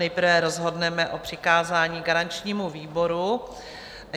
Nejprve rozhodneme o přikázání garančnímu výboru.